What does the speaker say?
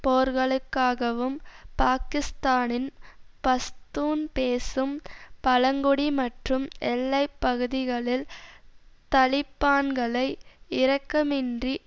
போர்களுக்காகவும் பாக்கிஸ்தானின் பஸ்தூன் பேசும் பழங்குடி மற்றும் எல்லை பகுதிகளில் தலிபான்களை இரக்கமின்றி